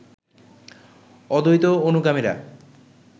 অদ্বৈত অনুগামীরা